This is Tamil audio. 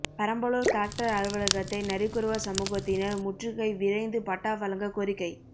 பெரம்பலூர் கலெக்டர் அலுவலகத்தை நரிக்குறவர் சமூகத்தினர் முற்றுகை விரைந்து பட்டா வழங்க கோரிக்கை